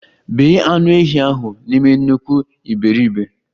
Bee anụ ehi ahụ n'ime nnukwu iberibe!